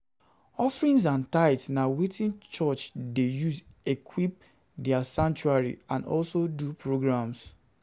Offerings and tithe na wetin church de use equip their sanctuary and also do programs